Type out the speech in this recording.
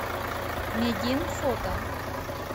медин фото